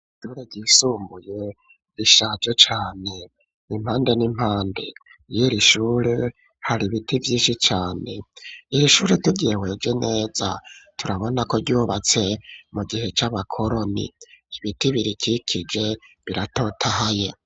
Îshure ryisumbuye ,rishaje cane, impande n'impande yiri shure, hari ibiti vyinshi cane, iri ishure turyihwejwe neza ,turabona ko ryubatse mu gihe c'abakoroni ,ibiti birikikije biratotahaye.